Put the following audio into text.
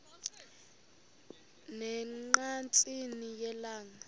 ne ngqatsini yelanga